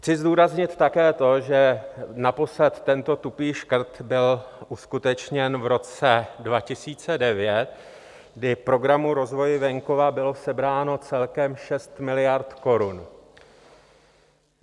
Chci zdůraznit také to, že naposled tento tupý škrt byl uskutečněn v roce 2009, kdy Programu rozvoje venkova bylo sebráno celkem 6 miliard korun.